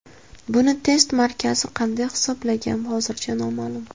Buni test markazi qanday hisoblagan hozircha noma’lum.